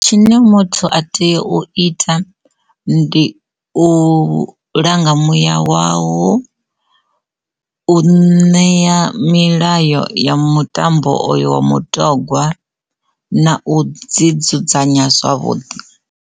Tshine muthu a tea u ita ndi u langa muya wau wo u ṋea milayo ya mutambo oyo wa mutogwa na u dzi dzudzanya zwavhuḓi.